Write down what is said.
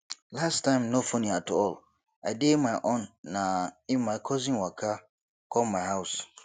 last night no funny at all i dey my own na im my cousin waka come my house